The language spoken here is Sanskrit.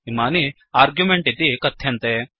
इमानि आर्ग्युमेण्ट् इति कथ्यन्ते